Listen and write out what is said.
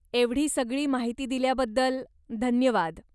एवढी सगळी माहिती दिल्याबद्दल धन्यवाद.